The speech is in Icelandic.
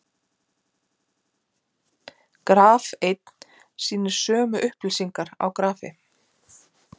graf einn sýnir sömu upplýsingar á grafi